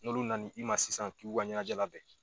N'olu na ni i ma sisan k'i k'o ka ɲɛnajɛ labɛn